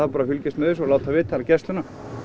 bara að fylgjast með þessu og láta vita hjá gæslunni